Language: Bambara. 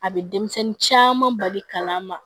A bɛ denmisɛnnin caman bali kalan ma